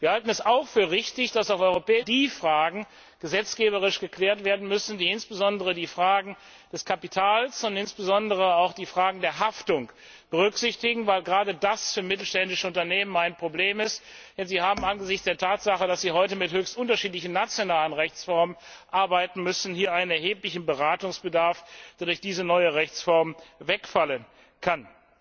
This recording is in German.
Wir halten es auch für richtig, dass auf europäischer Ebene alle die Fragen gesetzgeberisch geklärt werden müssen, die insbesondere das Kapital und insbesondere auch die Haftung betreffen, weil gerade das für mittelständische Unternehmen ein Problem ist, denn sie haben angesichts der Tatsache, dass sie heute mit höchst unterschiedlichen nationalen Rechtsformen arbeiten müssen, hier einen erheblichen Beratungsbedarf, der durch diese neue Rechtsform wegfallen kann.